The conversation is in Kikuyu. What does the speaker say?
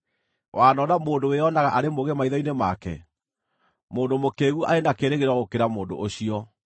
Wanona mũndũ wĩonaga arĩ mũũgĩ maitho-inĩ make? Mũndũ mũkĩĩgu arĩ na kĩĩrĩgĩrĩro gũkĩra mũndũ ũcio.